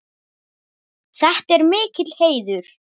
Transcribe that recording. Þetta er mikill heiður.